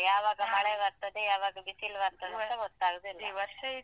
ಯಾವಾಗ ಮಳೆ ಬರ್ತದೆ ಯಾವಾಗ ಬಿಸಿಲು ಬರ್ತದಂತ ಗೊತ್ತಾಗುದಿಲ್ಲ.